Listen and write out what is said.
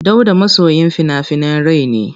Dauda masoyin fina-finan rai ne.